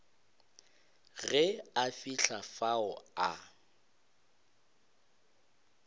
ge a fihla fao a